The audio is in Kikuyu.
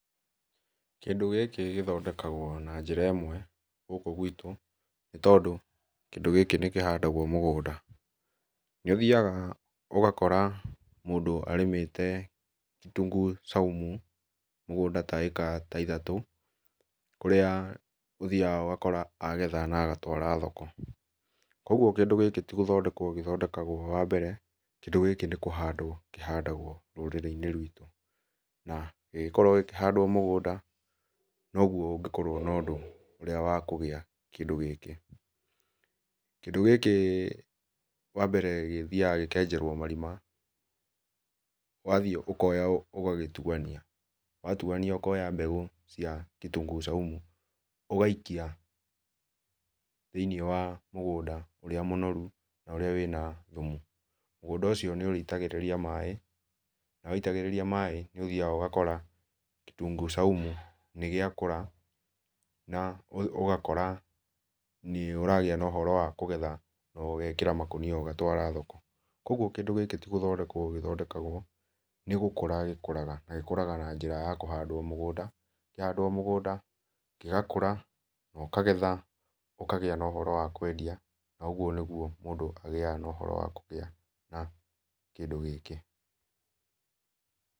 Kĩndũ gĩkĩthondekagwo na njĩra ĩmwe gũkũ gwitũ nĩ tondũ kĩĩndũ gĩkĩ nĩkĩhandagwo mũgũnda nĩ ũthĩaga ũgakora mũndũ arĩmĩte kitunguu saumu mũgũnda ta ĩka ta ithatũ kũrĩa ũthiaga ũgakora agetha na agatwara thoko kũogũo kĩndũ gĩkĩ tĩgũthondekwo gĩthondekagwo wambere kĩndũ gĩkĩ nĩ kũhandwo kĩhandagwo rũrĩrĩ inĩ rwitũ na gĩgĩkorwo gĩkĩhandwo mũgũnda no ũgũo ũngĩkorwo na ũndũ ũrĩa wa kũgĩa na kĩndũ gĩkĩ, kĩndũ gĩkĩ wambere gĩthiaga gĩkenjerwo marima wathiĩ ũkoya ũgagĩtũania watũania ũkoya mbegũ cia kitunguu saumu ũgaikia thĩinĩ wa mũgũnda ũrĩa mũnorũ na ũrĩa wĩna thũmũ mũgũnda ũcio nĩ ũrĩitagĩrĩria maĩ na waĩtagĩrĩria maĩ nĩ ũthiaga ũgakora kitunguu saumu nĩgĩakũra na ũgakora nĩ ũragia na ũhoro wa kũgetha na ũgekĩra makũnia ũgatwara thoko kũogũo kĩndũ gĩkĩ tũ gũthondekwo gĩthondekagwo nĩ gũkũra gĩkũraga na gĩkũraga na nĩra ya kũhandwo mũgũnda kĩahandwo mũgũnda gĩgakũra na ũkagetha ũkagia na ũhoro wa kwendia na ũguo nĩ gũo mũndũ agiaga na ũhoro wa kũgĩa na kĩndũ gĩkĩ.